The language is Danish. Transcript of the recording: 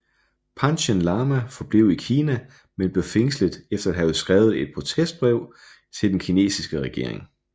Panchen Lama forblev i Kina men blev fængslet efter at have skrevet et protestbrev til den kinesiske regering